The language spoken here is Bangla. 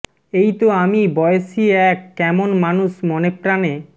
এই তো আমি বয়েসী এক কেমন মানুষ মনে প্রাণে